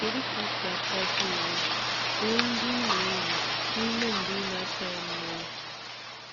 Kedu ka ị si apịaji uwe uwe ndị ị na-eyi n'ime mgbe ị na-asa ya mmiri?